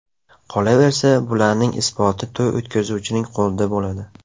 Qolaversa, bularning isboti to‘y o‘tkazuvchining qo‘lida bo‘ladi.